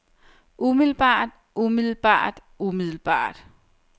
umiddelbart umiddelbart umiddelbart